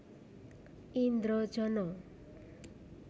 Indrojono